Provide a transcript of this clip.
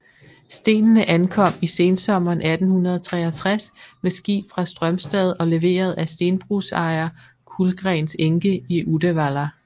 Stenene ankom i sensommeren 1863 med skib fra Strømstad og leveret af stenbrugsejer Kullgrens enke i Uddevalla